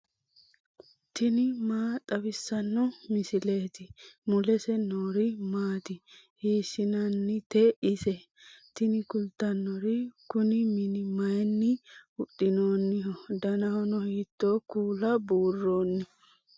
tini maa xawissanno misileeti ? mulese noori maati ? hiissinannite ise ? tini kultannori kuni mini mayinni huxxinoonniho danahono hiitto kuula buurronni